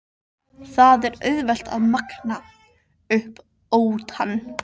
Það er auðvelt að magna upp óttann.